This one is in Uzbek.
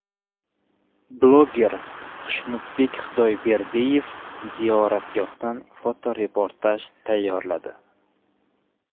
Bloger Xushnudbek Xudoyberdiyev ziyoratgohdan fotoreportaj tayyorladi .